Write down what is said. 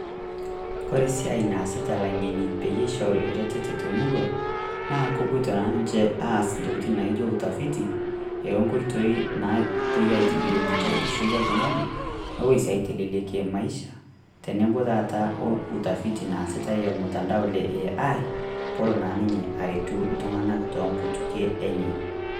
Kore esiai naasita ilang'eni peyie eishori eretoto temurua naa kepoito naa ninche aas Intokitin naijio utafiti enkoitoi napoi aitobirie enkishui oltung'ani nepoi sii aitelelekie Maisha otenebo taata eutafiti naasitae ormutandao le Ai peelo naa ninye aretu iltung'anak toonkutukie enye.